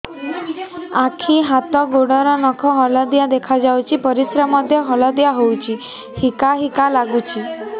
ଆଖି ହାତ ଗୋଡ଼ର ନଖ ହଳଦିଆ ଦେଖା ଯାଉଛି ପରିସ୍ରା ମଧ୍ୟ ହଳଦିଆ ହଉଛି ହିକା ହିକା ଲାଗୁଛି